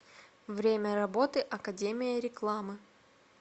время работы академия рекламы